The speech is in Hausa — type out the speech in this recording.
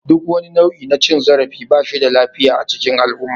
Duk wani nau'i na cin zarafi ba shi da lafiya a cikin al'umma.